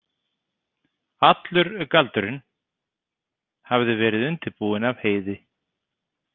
Allur galdurinn hafði verið undirbúinn af Heiði.